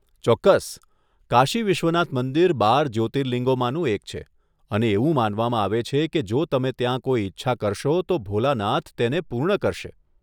ચોક્કસ, કાશી વિશ્વનાથ મંદિર બાર જ્યોતિર્લિંગોમાંનું એક છે, અને એવું માનવામાં આવે છે કે જો તમે ત્યાં કોઈ ઇચ્છા કરશો, તો ભોલાનાથ તેને પૂર્ણ કરશે!